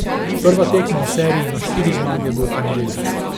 Prva tekma v seriji na štiri zmage bo v ponedeljek.